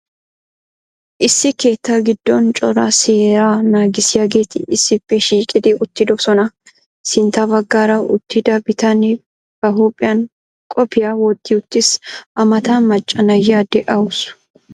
Issi keettaa giddon cora seeraa naagissiyaageeti issippe shiiqqidi uttiddossona. Sintta baggaara uttida bitanne ba huuphphiyan qophphiya wotti uttiis. A matan macca na'iya de'awusu.